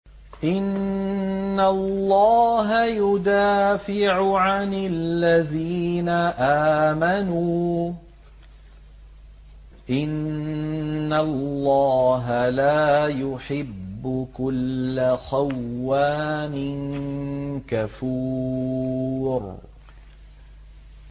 ۞ إِنَّ اللَّهَ يُدَافِعُ عَنِ الَّذِينَ آمَنُوا ۗ إِنَّ اللَّهَ لَا يُحِبُّ كُلَّ خَوَّانٍ كَفُورٍ